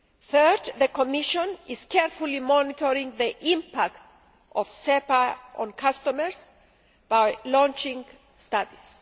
Third, the Commission is carefully monitoring the impact of SEPA on customers by launching studies.